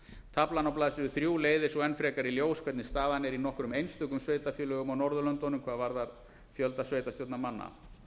taflan á blaðsíðu þrjár leiðir svo enn frekar í ljós hvernig staðan er í nokkrum einstökum sveitarfélögum á norðurlöndunum hvað varðar fjölda sveitarstjórnarmanna